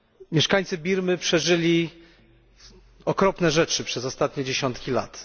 Mieszkańcy Birmy przeżyli okropne rzeczy przez ostatnie dziesiątki lat.